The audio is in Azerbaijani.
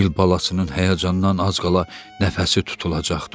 Fil balasının həyəcandan az qala nəfəsi tutulacaqdı.